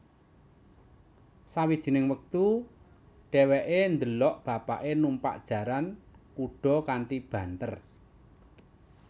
Sawijining wektu dheweke ndelok bapake numpak jaran kuda kanthi banter